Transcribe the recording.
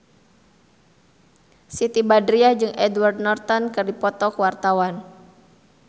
Siti Badriah jeung Edward Norton keur dipoto ku wartawan